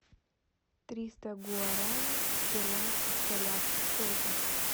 триста гуарани в перуанских солях сколько